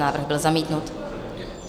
Návrh byl zamítnut.